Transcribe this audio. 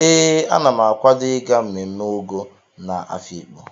Ee, Ana m akawado ịga mmemme Ọgọ nke Afiikpo.